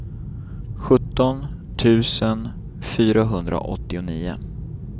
sjutton tusen fyrahundraåttionio